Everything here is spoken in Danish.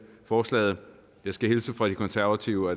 forslaget jeg skal hilse fra de konservative og